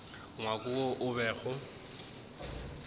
ngwako wo o bego o